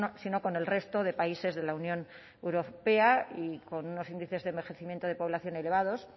autónomas sino con el resto de países de la unión europea y con unos índices de envejecimiento de población